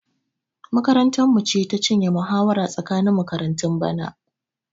Makarantarmu ce ta cinye muhawara tsakanin makaratun bana.